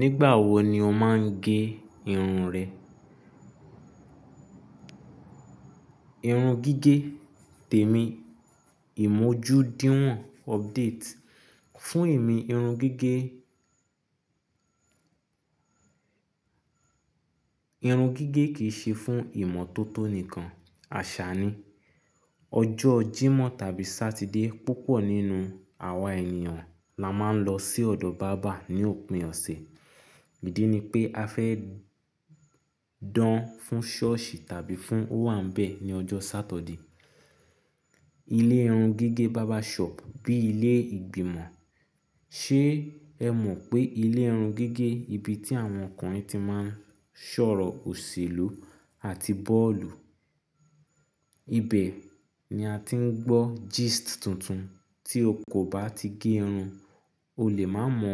Nígbà wo ni o máa ń gé irun rẹ? Irun gígé, tèmi, ìmójúdíwọ̀n, update, fún èmi irun gígé. Irun gígé kì í ṣe fún ìmọ́tótó nìkan. Àṣà ni. Ọjọ́ Jímọ̀ tàbí Sátidé, púpọ̀ nínú àwa ènìyàn la máa ń lọ sí ọ̀dọ̀ bàbá ní òpin ọ̀sẹ̀. Ídí ni pé a fẹ́ dán fún ṣọ́ọ̀ṣì tàbí fún owambe ní ọjọ́ Sátọ̀dì. Ilé irun gígé barber shop bí ilé ìgbìmọ̀. Ṣé ẹ mọ̀ pé ilé irun gígé ibi tí àwọn ọkùnrin ti máa ṣọ̀rọ̀ òṣèlú àti bọ́ọ̀lù. Ibẹ̀ ni a ti ń gbọ́ gist tuntun. Tí o kò bá ti gé irun, o lè má mọ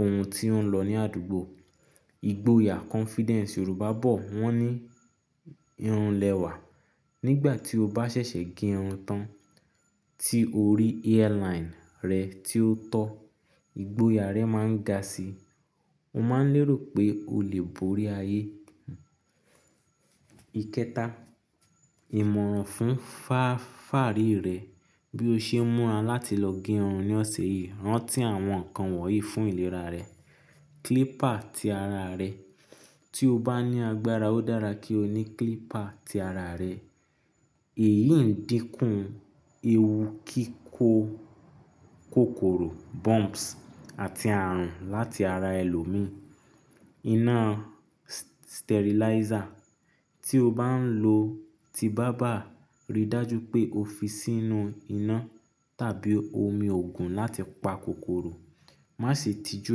ohun tí ó ń lọ ní àdúgbò. Igboyà confidence Yorùbá bọ̀. Wọ́n ní irun lẹwà. Nígbà tí o bá ṣẹ̀ṣẹ̀ gé irun tán tí o rí hairline rẹ tí ó tọ́, ìgboyà rẹ máa ń ga sí i. O máa ń lérò pé o lè borí ayé. Ikẹta, ìmọ̀ràn fún fa-fàárì rẹ. Bí o ṣe ń múra láti lọ gé irun ní ọ̀sẹ̀ yìí, rántí àwọn nǹkan wọ̀nyí fún ìlera rẹ. Clipper ti ara rẹ. Tí o bá ní agbára, ó dára kí o ní clipper ti ara rẹ. Èyí ń dínkù ewu kíkó kòkòrò bumps àti ààrùn láti ara ẹlòmíràn. Iná sterilizer. Tí o bá ń lò ti bàbá, ríi dájú pé o fi sínú iná tàbí omi òògùn láti pa kòkòrò. Má ṣe tijú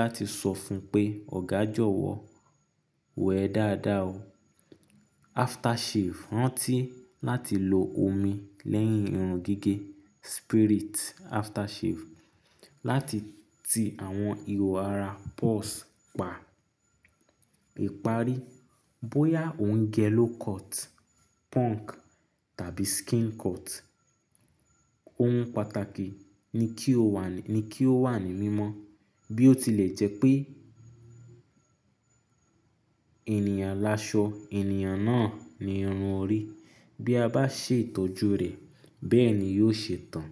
láti sọ fún un pé "Ọ̀gá jọ̀wọ́, wẹẹ dáadáa o." Aftershave. Rántí láti lo omi lẹ́yìn irun gígé spirit aftershave láti ti àwọn ihò ara pores pa. Ìparí, bóyá ò ń gẹ low cut, punk tàbí skin cut, ohun pàtàkì ni kí ó wà ní mímọ́ bí ó tilẹ̀ jẹ́ pé ènìyàn laṣọ, ènìyàn náà ni irun ò rí. Bí a bá ṣètójú rẹ̀, bẹ́ẹ̀ ni yóò ṣe tán.